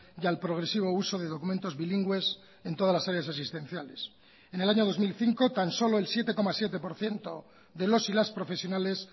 y al progresivo uso de documentos bilingües en todas las áreas asistenciales en el año dos mil cinco tan solo el siete coma siete por ciento de los y las profesionales